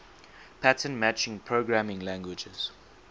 pattern matching programming languages